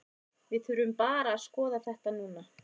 Við þurfum bara að skoða þetta núna.